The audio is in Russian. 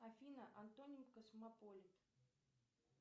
афина антоним космополит